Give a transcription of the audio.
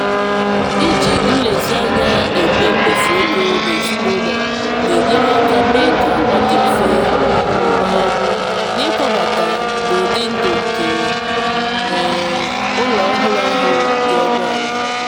iji nlezianya eme mmefu ego ezinụlọ na-enyere aka mee ka ọ dị mfe um n'ịkwabata n'ụdị ndụ nke um ụlọ ọhụrụ ahụ dị ọnụ ala.